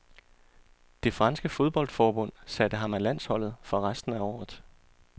Det franske fodboldforbund satte ham af landsholdet for resten af året.